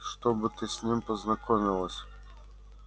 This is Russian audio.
чтобы ты с ним познакомилась